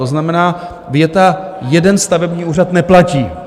To znamená, věta "jeden stavební úřad" neplatí.